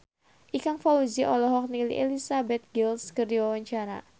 Ikang Fawzi olohok ningali Elizabeth Gillies keur diwawancara